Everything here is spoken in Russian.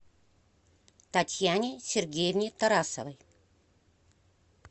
татьяне сергеевне тарасовой